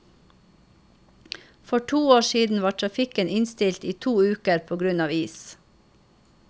For to år siden var trafikken innstilt i to uker på grunn av is.